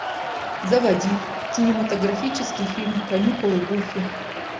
заводи кинематографический фильм каникулы гуфи